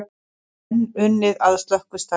Enn unnið að slökkvistarfi